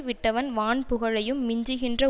விட்டவன் வான்புகழையும் மிஞ்சுகின்ற